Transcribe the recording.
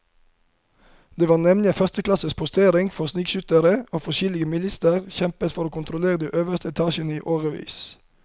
Det var nemlig en førsteklasses postering for snikskyttere, og forskjellige militser kjempet om å kontrollere de øverste etasjene i årevis.